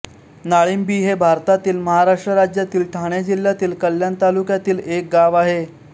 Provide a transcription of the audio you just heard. नाळिंबी हे भारतातील महाराष्ट्र राज्यातील ठाणे जिल्ह्यातील कल्याण तालुक्यातील एक गाव आहे